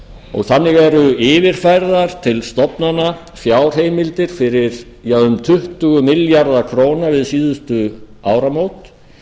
og þannig eru yfirfærðar til stofnana fjárheimildir fyrir um tuttugu milljarða króna við síðustu áramót